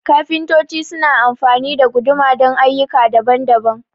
kafintoci su na amfani da guduma don ayyuka daban-daban